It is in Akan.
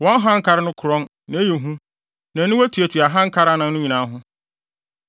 Wɔn hankare no korɔn, na ɛyɛ hu, na aniwa tuatua hankare anan no nyinaa ho.